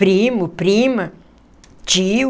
Primo, prima, tio.